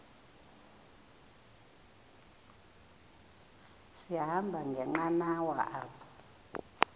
sahamba ngenqanawa apha